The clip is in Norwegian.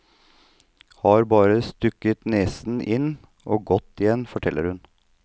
Har bare stukket nesen inn og gått igjen, forteller hun.